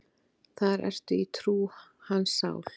Þar ertu í trú, hans sál.